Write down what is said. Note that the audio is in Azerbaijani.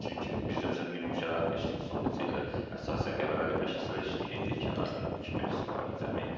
Çünki bizdə məsələn minimum şəraitlə işləyirdi, son neçə illər əsasən Qəbələli məşçilər işləyirdik, kənardan iki məşqçi var idi cəmi.